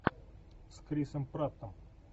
с крисом праттом